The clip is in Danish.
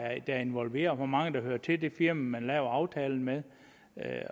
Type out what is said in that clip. er involveret hvor mange der hører til det firma som man laver aftalen med